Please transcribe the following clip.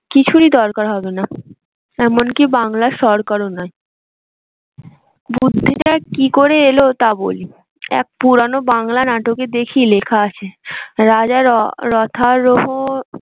কিছুরই দরকার হবে না। এমনকি বাংলার সরকার ও নয় বুদ্ধিটা কি করে এলো তার বলি পুরানা বাংলা নাটকে দেখি লেখা আছে রাজা